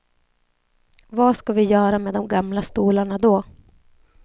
Vad ska vi göra med de gamla stolarna då?